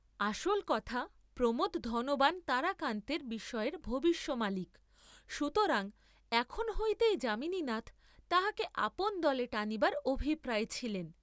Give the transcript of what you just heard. আসল কথা প্রমােদ, ধনবান তারাকান্তের বিষয়ের ভবিষ্য মালিক, সুতরাং এখন হইতেই যামিনীনাথ তাঁহাকে আপন দলে টানিবার অভিপ্রায়ে ছিলেন।